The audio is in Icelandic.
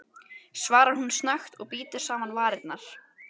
svarar hún snöggt og bítur saman varirnar.